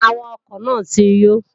Awakọ̀ náà ti yó